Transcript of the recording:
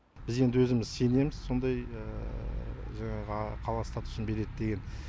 біз енді өзіміз сенеміз сондай жаңағы қала статусын береді деген